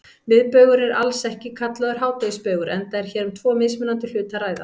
Miðbaugur er alls ekki kallaður hádegisbaugur enda er hér um tvo mismunandi hluti að ræða.